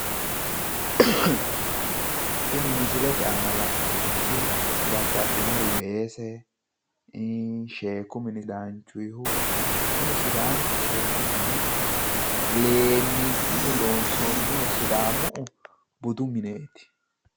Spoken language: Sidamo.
Tini misilete aana la'neemmoti babbaxinori weese, sheeku mini sidaanchuyiihu. kuni sidaanchu sheeku mini leemmiichunni loonsoyiho sidaamu budu mineeeti.